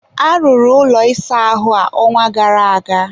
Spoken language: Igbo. arụrụ ụlọ ịsa ahụ a, ọnwa gara aga.